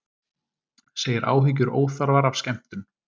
Segir áhyggjur óþarfar af skemmtun